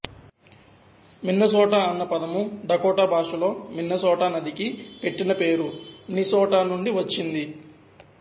Minnesota అన్న పదము Dakota భాషలో మిన్నసోటా నదికి పెట్టిన పేరు మ్నిసోటా నుండి వచ్చింది